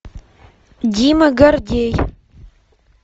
дима гордей